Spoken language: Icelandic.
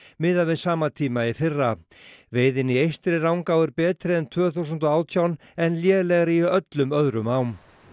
miðað við sama tíma í fyrra veiðin í Eystri Rangá er betri en tvö þúsund og átján en lélegri í öllum öðrum ám